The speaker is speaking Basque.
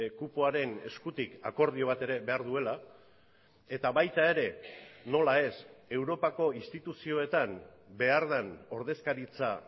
kupoaren eskutik akordio bat ere behar duela eta baita ere nola ez europako instituzioetan behar den ordezkaritza